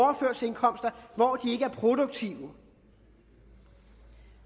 hvor de ikke er produktive